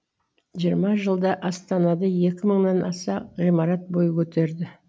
жиырма жылда астанада екі мыңнан аса ғимарат бой көтерді